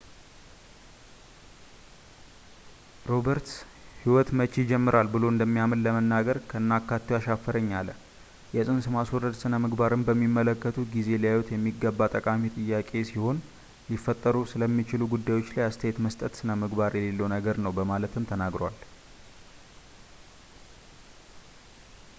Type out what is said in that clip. roberts ሕይወት መቼ ይጀምራል ብሎ እንደሚያምን ለመናገር ከነአካቴው አሻፈረኝ አለ የፅንስ ማስወረድ ስነምግባርን በሚመለከቱበት ጊዜ ሊያዩት የሚገባ ጠቃሚ ጥያቄ ሲሆን ሊፈጠሩ ስለሚችሉ ጉዳዮች ላይ አስተያየት መስጠት ስነምግባር የሌለው ነገር ነው በማለትም ተናግሯል